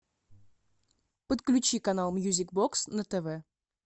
подключи канал мьюзик бокс на тв